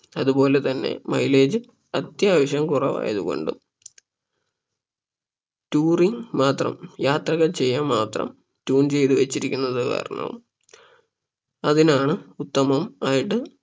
അതുപോലെ തന്നെ mileage അത്യാവശ്യം കുറവായത് കൊണ്ടും Touring മാത്രം യാത്രകൾ ചെയ്യാൻ മാത്രം tune വെച്ചിരിക്കുന്നത് കാരണം അതിനാണ് ഉത്തമം ആയിട്ട്